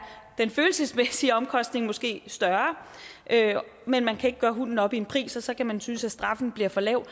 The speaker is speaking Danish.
den følelsesmæssige omkostning måske større men man kan ikke gøre hunden op i en pris og så kan man synes at straffen bliver for lav